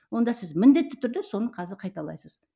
онда сіз міндетті түрде соны қазір қайталайсыз